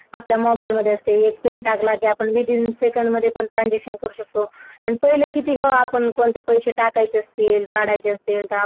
आपल्या मोबाइल मध्ये Pin टाकला कि एका सेकंदमध्ये transaction करू शकतो आणि पहिलं किती ग आपण कोणत्या पण पैसे साठवायचे असतील काढायचे असतील.